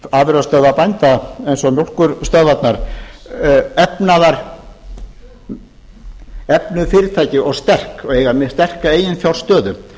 afurðastöðvar bænda eins og mjólkurstöðvarnar efnuð fyrirtæki og sterk og hafa mjög sterka eiginfjárstöðu